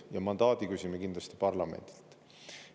Ja mandaadi küsime kindlasti parlamendilt.